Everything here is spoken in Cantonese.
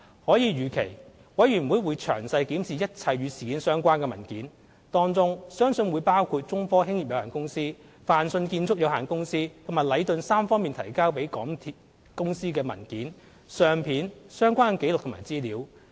可以預期，委員會會詳細檢視一切與事件相關的文件，當中相信會包括中科興業有限公司、泛迅建築有限公司和禮頓三方提交予港鐵公司的文件、相片、相關的紀錄和資料。